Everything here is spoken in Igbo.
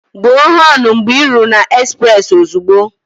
Gbuo họnụ mgbe ị ruru na ezprezị ozugbo!